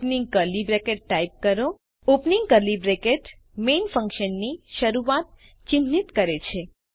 open curly bracket type કરો opening curly bracket main ફન્કશનની શરૂઆત ચિહ્નિત કરે છે